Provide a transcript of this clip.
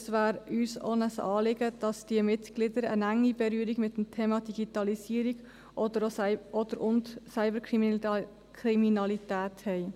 Auch wäre es uns ein Anliegen, dass diese Mitglieder eine enge Berührung mit dem Thema Digitalisierung oder/und Cyberkriminalität haben.